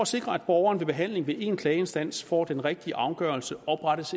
sikre at borgeren ved behandling ved én klageinstans får den rigtige afgørelse oprettes